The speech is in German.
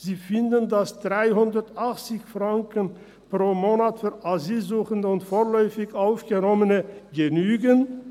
Sie finden, dass 380 Franken pro Monat für Asylsuchende und vorläufig Aufgenommene genügen.